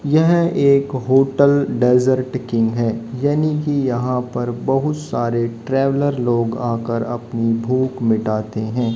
यह एक hotel desert king है यानी कि यहां पर बहुत सारे ट्रैवलर लोग आकर अपनी भूख मिटाते हैं।